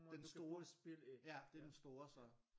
Den store? Ja det er den store så